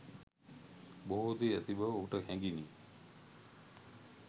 බොහෝ දේ ඇති බව ඔහුට හැඟිණි.